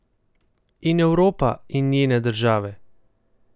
In Evropa in njene države?